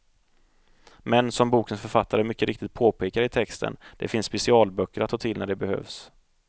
Men, som bokens författare mycket riktigt påpekar i texten, det finns specialböcker att ta till när det behövs.